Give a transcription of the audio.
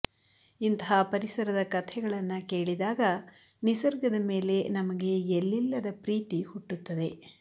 ಇಂತಹ ಪರಿಸರದ ಕಥೆಗಳನ್ನ ಕೇಳಿದಾಗ ನಿಸರ್ಗದ ಮೇಲೆ ನಮಗೆ ಎಲ್ಲಿಲ್ಲದ ಪ್ರೀತಿ ಹುಟ್ಟುತ್ತದೆ